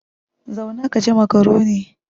Zauna ka ci makaroni!